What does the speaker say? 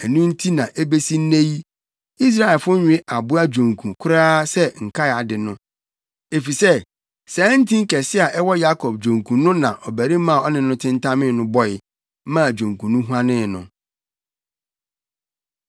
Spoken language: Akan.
Ɛno nti na ebesi nnɛ yi, Israelfo nwe aboa dwonku koraa sɛ nkae ade no; efisɛ saa ntin kɛse a ɛwɔ Yakob dwonku no na ɔbarima a ɔne no tentamee no bɔe, maa dwonku no huanee no.